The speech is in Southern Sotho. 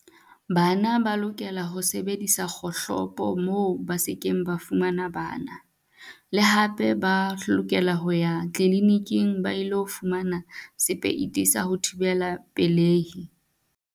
Bana ba lokela ho sebedisa kgohlopo moo ba sekeng ba fumana bana. Le hape ba lokela ho ya kliniking ba ilo fumana sepeiti sa ho thibela pelehi.